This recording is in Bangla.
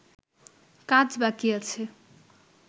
কাজ বাকি আছে